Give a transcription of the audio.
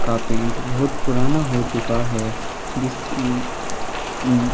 -- का पेंट बहुत पुराना हो चुका हैं।